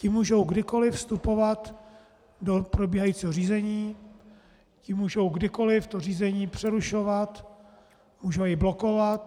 Ti mohou kdykoliv vstupovat do probíhajícího řízení, ti mohou kdykoliv to řízení přerušovat, mohou i blokovat.